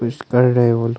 कुछ कर रहे वो लोग--